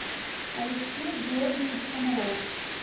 алексей георгиевич комаров